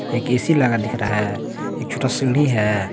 एक ए_सी लगा दिख रहा है एक छोटा सीढ़ी है।